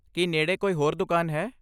ਕੀ ਨੇੜੇ ਕੋਈ ਹੋਰ ਦੁਕਾਨ ਹੈ?